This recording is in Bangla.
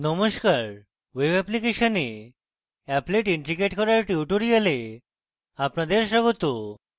নমস্কার বন্ধুগণ web অ্যাপ্লিকেশনে applet ইন্ট্রিগেট করার tutorial আপনাদের স্বাগত